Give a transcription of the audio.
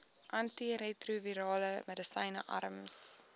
antiretrovirale medisyne arms